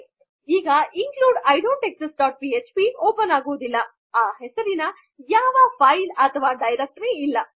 ಈಗ I don't exist dot PHP open ಆಗುವುದಿಲ್ಲ ಈ ಹೆಸರಿನಲ್ಲಿ ಅಲ್ಲಿ ಯಾವುದೆ ಫೈಲ್ ಅಥವಾ ಡೈರಕ್ಟರಿ ಇಲ್ಲ